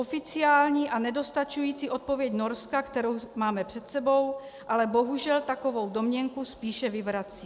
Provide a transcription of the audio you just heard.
Oficiální a nedostačující odpověď Norska, kterou máme před sebou, ale bohužel takovou domněnku spíše vyvrací.